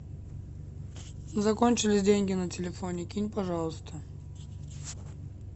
закончились деньги на телефоне кинь пожалуйста